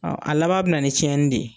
Ɔn a laban be na ni tiɲɛni de ye.